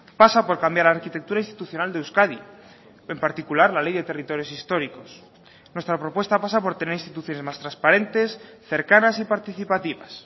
pasa por cambiar la arquitectura institucional de euskadi en particular la ley de territorios históricos nuestra propuesta pasa por tener instituciones más transparentes cercanas y participativas